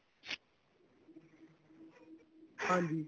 ਹਾਂਜੀ